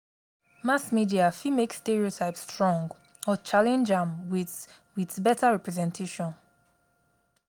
mass media fit make stereotype strong or challenge am with with beta representation.